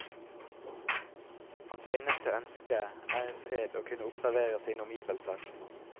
Hans eneste ønske er i fred å kunne observere sine omgivelser.